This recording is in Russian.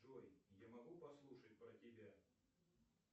джой я могу послушать про тебя